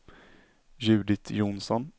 Judit Johnsson